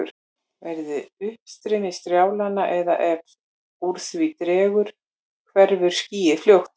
Verði uppstreymið strjálara eða ef úr því dregur hverfur skýið fljótt.